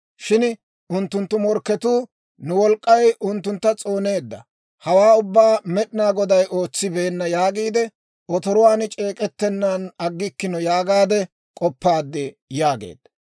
Shin unttunttu morkketuu, ‹Nu wolk'k'ay unttuntta s'ooneedda; hawaa ubbaa Med'inaa Goday ootsibeenna› yaagiide otoruwaan c'eek'ettennaan aggikkino yaagaade k'oppaad» yaageedda.